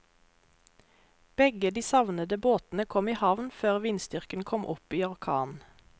Begge de savnede båtene kom i havn før vindstyrken kom opp i orkan.